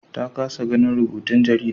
Ta kasa ganin rubutun jarida